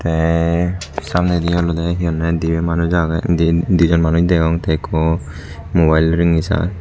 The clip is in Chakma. tey samnedi olodey he honney dibey manus agey di dijon manus degong tey ekko mobile rengisar.